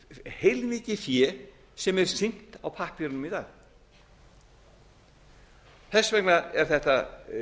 heilmikið fé sem er sýnt á pappírunum í dag þess vegna er þetta